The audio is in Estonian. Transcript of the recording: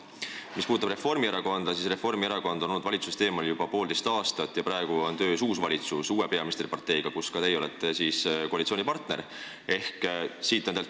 Mis puudutab Reformierakonda, siis nemad on olnud valitsusest eemal juba poolteist aastat ja praegu on ametis uus valitsus, uue peaministriparteiga, kus ka teie olete koalitsioonipartner.